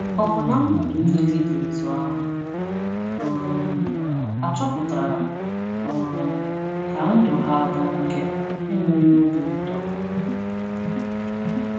Ọ̀ bụ na mmadụ niile dị otú ahụ um achọpụtara um ka ndụ ha bụ nke enweghị obi ụtọ?